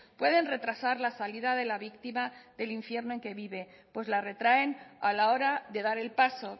pueden retrasar la salida de la víctima del infierno en que vive pues la retraen a la hora de dar el paso